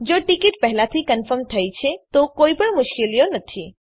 જો ટીકીટ પહેલાથી કન્ફર્મ થઇ છે તો કોઈપણ મુશ્કેલીઓ નથી